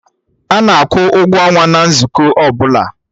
Ana akwụ ụgwọ ọnwa na nzukọ ọbụla